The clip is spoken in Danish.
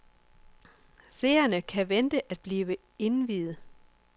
Seerne kan vente at blive indviet.